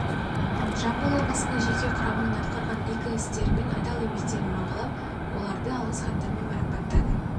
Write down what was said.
жамбыл облысының жеке құрамының атқарған игі істері мен адал еңбектерін бағалап оларды алғыс хаттармен марапаттады